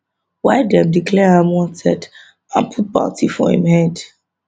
why dem declare am wanted and put bounty on im head